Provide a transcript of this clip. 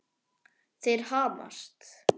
Þeir hamast.